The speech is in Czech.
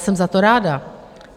Jsem za to ráda.